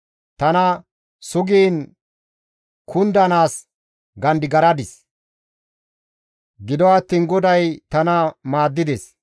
Tana sugiin kundanaas gandigaradis; gido attiin GODAY tana maaddides.